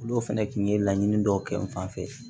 Olu fɛnɛ kun ye laɲini dɔw kɛ n fanfɛ